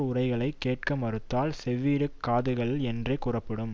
உரைகளைக் கேட்க மறுத்தால் செவிட்டுக் காதுகள் என்றே கூறப்படும்